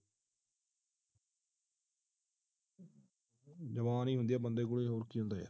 ਜ਼ਬਾਨ ਹੀਂ ਹੁੰਦੀ ਹੈ ਬੰਦੇ ਕੋਲੋਂ ਹੋਰ ਕੀ ਹੁੰਦਾ ਹੈ ਯਾਰ